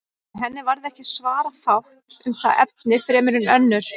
En henni varð ekki svara fátt um það efni fremur en önnur.